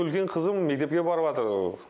үлкен қызым мектепке барып жатыр